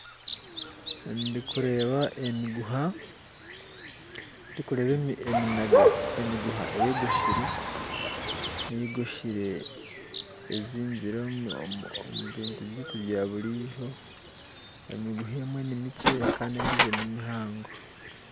Ndikureeba emiguha, ndikureeba eminaga emiguha eyogosire eyogosire ezingire omu bintu byaitu byaburiizo, emiguha emwe nimikye kandi endiijo nimihango